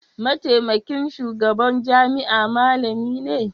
mataimakin shugaban jami'a malami ne?